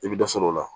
I bɛ dɔ sɔrɔ o la